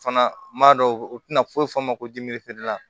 Fana m'a dɔn u tɛna foyi fɔ a ma ko